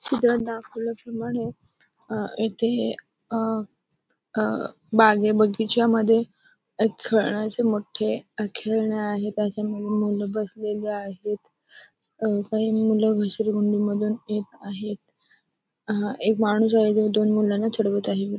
चित्रात दाखवल्याप्रमाणे अं येथे हे अं अं बागे बगीच्यामध्ये एक खेळण्याचे मोठे खेळणे आहे. काहीतरी मुल बसलेले आहेत. अं काही मुले घसरगुंडी मधून येत आहेत. अं एक माणूस आहे तो दोन मुलांना चिडवत आहे.